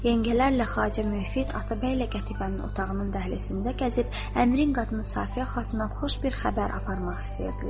Yəngələrlə Xacə Müfid, Atabəylə Qətibənin otağının dəhlizində gəzib, əmirin qadını Safiyə xatuna xoş bir xəbər aparmaq istəyirdilər.